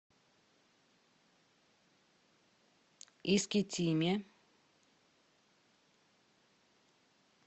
искитиме